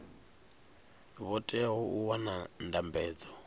vho teaho u wana ndambedzo